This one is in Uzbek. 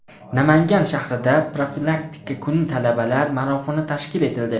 Namangan shahrida profilaktika kuni talabalar marafoni tashkil etildi.